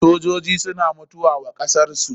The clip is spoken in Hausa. Sojoji suna mutuwa wa kasar su.